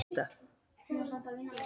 Í upphafi var tangó.